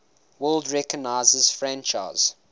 world recognizes franchise